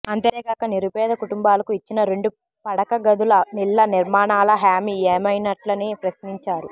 అంతేకాక నిరుపేద కుటుంబాలకు ఇచ్చిన రెండు పడకగదుల ఇళ్ళ నిర్మాణాల హామీ ఏమైనట్లని ప్రశ్నించారు